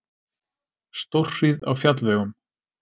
Stórhríð á fjallvegum